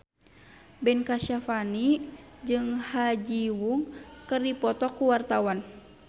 Ben Kasyafani jeung Ha Ji Won keur dipoto ku wartawan